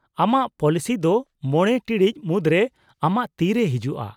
-ᱟᱢᱟᱜ ᱯᱚᱞᱤᱥᱤ ᱫᱚ ᱢᱚᱬᱮ ᱴᱤᱲᱤᱡ ᱢᱩᱫᱨᱮ ᱟᱢᱟᱜ ᱛᱤᱨᱮ ᱦᱤᱡᱩᱜᱼᱟ ᱾